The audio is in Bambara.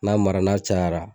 N'a mara n'a cayara